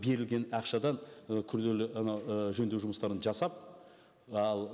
берілген ақшадан і күрделі анау і жөндеу жұмыстарын жасап ал